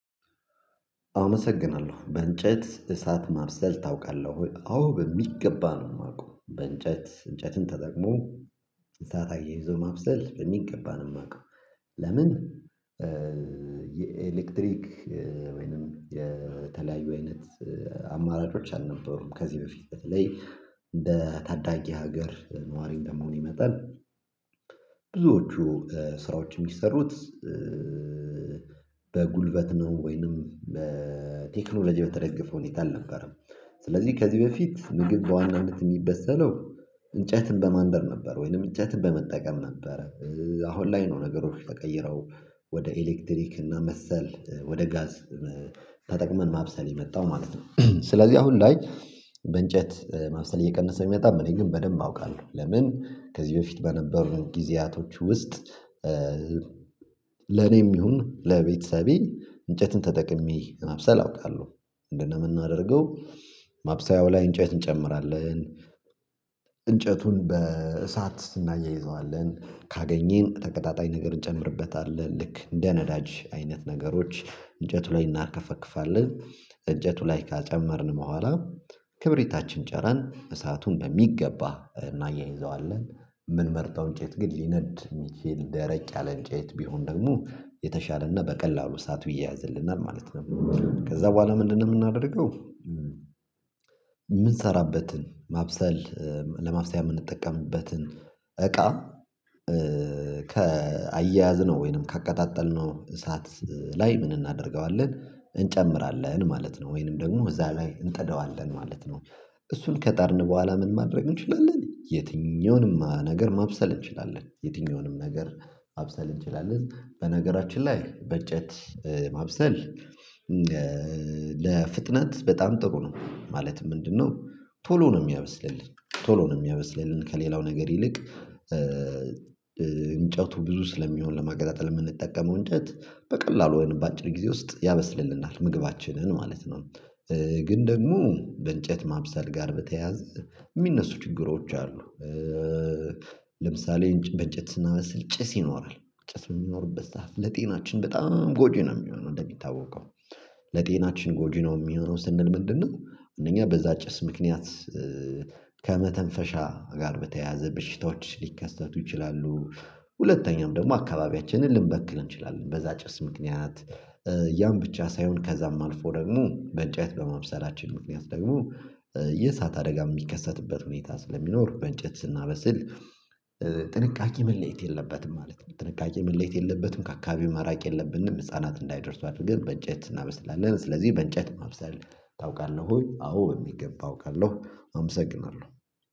አመሰግናለሁ በእንጨት እሳት ማብሰል ታውቃለህ ወይ? አዎ በሚገባ ነው። የማውቀው በእንጨት እንጨትን ተጠቅሞ እሳት አያይዞ ማብሰል በሚገባን ነው የማውቀው። ለምን? የኤሌክትሪክ ወይንም የተለያዩ አይነት አማራጮች አልነበሩም ከዚህ በፊት በተለይ እንደ ታዳጊ ሀገር ነዋሪ እንደመሆን ይመጣል። ብዙዎቹ ስራዎች የሚሰሩት በጉልበት ነው ወይንም በቴክኖሎጂ በተደገፈው ሁኔታ አልነበረም። ስለዚህ ከዚህ በፊት ምግብ በዋናነት የሚበሰለው እንጨትን በማንደድ ነበር ወይንም እንጨትን በመጠቀም ነበረ። አሁን ላይ ነው ነገሮች ተቀይረው ወደ ኤሌክትሪክ እና መሰል ወደ ጋዝ ተጠቅመን ማብሰል የመጣው ማለት ነው። ስለዚህ አሁን ላይ በእንጨት መብሰል እየቀነሰ የሚመጣም እኔ ግን በደንብ አውቃለሁ። ለምን ከዚህ በፊት በነበሩን ጊዜያቶች ውስጥ ለኔም ይሁን ለቤተሰቤ እንጨትን ተጠቅሜ መብሰል አውቃለሁ። እንደነም እናደርገው ማብሰያው ላይ እንጨት እንጨምራለን። እንጨቱን በእሳት ስናያይዘዋለን ካገኘን ተቀጣጣይ ነገር እንጨምርበታለን። ልክ እንደ ነዳጅ አይነት ነገሮች እንጨቱ ላይ እናከፈክፋለን። እንጨቱ ላይ ካጨመርን በኋላ ክብሪታችን ጨረን እሳቱን በሚገባ እናያይዘዋለን። የምንመርጠውን እንጨት ግን ሊነድ የሚችል ደረቅ ያለ እንጨት ቢሆን ደግሞ የተሻለና በቀላሉ እሳቱ ይያያዝልናል ማለት ነው። ከዛ በኋላ ምንድነው የምናደርገው? የምንሰራበትን ማብሰል ለማብሰያ የምንጠቀምበትን እቃ ከአያያዝነው ወይንም ካቀጣጠልነው እሳት ላይ ምን እናደርገዋለን እንጨምራለን ማለት ነው ወይንም ደግሞ እዛ ላይ እንጠደዋለን ማለት ነው። እሱን ከጣድን በኋላ ምን ማድረግ እንችላለን? የትኛውንም ነገር ማብሰል እንችላለን የትኛውንም ነገር ማብሰል እንችላለን። በነገራችን ላይ በጨት ማብሰል ለፍጥነት በጣም ጥሩ ነው። ማለትም ምንድነው? ቶሎ ነው የሚያበስልልን ቶሎ ነው የሚያበስልልን ከሌላው ነገር ይልቅ እንጨቱ ብዙ ስለሚሆን ለማገጣጠል የምንጠቀመው እንዴት በቀላሉ በአጭር ጊዜ ውስጥ ያበስልልናል ምግባችንን ማለት ነው። ግን ደግሞ በእንጨት ማብሰል ጋር በተያዘ የሚነሱ ችግሮች አሉ። ለምሳሌ እንጨት ስናበስል ጭስ ይኖራል ጭስ የሚኖርበት ሰዓት ለጤናችን በጣም ጎጂ ነው። የሚሆነው እንደሚታወቀው ለጤናችን ጎጂ ነው የሚሆነው ስንል ምንድነው? አንደኛ በዛ ጭስ ምክንያት ከመተንፈሻ ጋር በተያያዘ በሽታዎች ሊከሰቱ ይችላሉ። ሁለተኛውም ደግሞ አካባቢያችንን ልንበክል እንችላለን በዛ ጭስ ምክንያት። ያን ብቻ ሳይሆን ከዛም አልፎ ደግሞ በእንጨት በማብሰላችን ምክንያት ደግሞ የእሳት አደጋ የሚከሰትበት ሁኔታ ስለሚኖር በእንጨት ስናበስል ጥንቃቄ መለየት የለበትም ማለት ነው። ጥንቃቄ መለየት የለበትም ከአካባቢው ማራቅ የለብንም ህፃናት እንዳይደርሱ አድርገን በእንጨት እናበስላለን። ስለዚህ በእንጨት ማብሰል ታውቃለህ ወይ? አዎ በሚገባ አውቃለሁ አመሰግናለሁ።